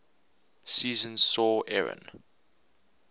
season saw aaron